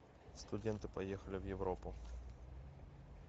студенты поехали в европу